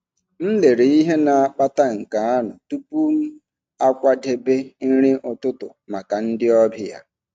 M lelere ihe na-akpata nke anụ tupu m akwadebe nri ụtụtụ maka ndị ọbịa.